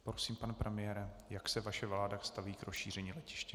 Prosím, pane premiére, jak se vaše vláda staví k rozšíření letiště?